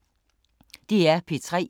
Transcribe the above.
DR P3